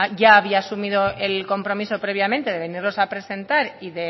ya había asumido el compromiso previamente de venirlos a presentar y